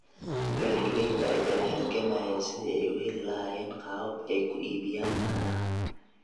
Beeralayda ayaa la halgamaya sidii ay u heli lahaayeen qaabab ay ku iibiyaan caanaha.